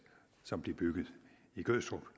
som bliver bygget i gødstrup